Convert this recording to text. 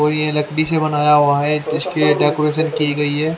और यह लकड़ी से बनाया हुआ है उसकी डेकोरेशन की गई है।